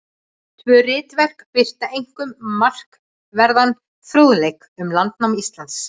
Tvö ritverk birta einkum markverðan fróðleik um landnám Íslands.